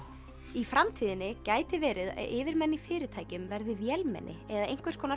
í framtíðinni gæti verið að yfirmenn í fyrirtækjum verði vélmenni eða einhvers konar